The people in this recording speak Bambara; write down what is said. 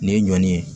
Nin ye ɲɔn ye